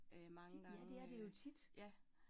Øh mange gange øh ja